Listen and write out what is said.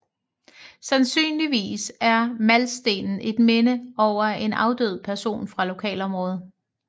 Sandsynligvis er Maltstenen et minde over en afdød person fra lokalområdet